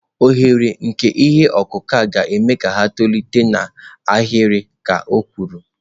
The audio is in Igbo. Oghere nke ihe ọkụkụ a ga-eme ka ha tolite n'ahịrị," ka o kwuru."